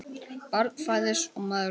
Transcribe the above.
Barn fæðist og maður deyr.